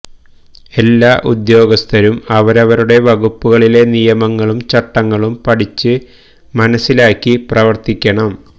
എല്ലാ ഉദ്യോഗസ്ഥരും അവരവരുടെ വകുപ്പുകളിലെ നിയമങ്ങളും ചട്ടങ്ങളും പഠിച്ച് മനസ്സിലാക്കി പ്രവർത്തിക്കണം